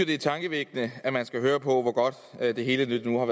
det er tankevækkende at man skal høre på hvor godt det hele nu er